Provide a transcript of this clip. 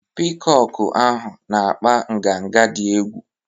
Piikọkụ ahụ na-akpa nganga dị egwu.